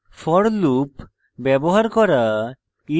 শিখেছি for loop ব্যবহার করা